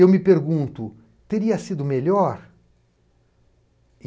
Eu me pergunto, teria sido melhor?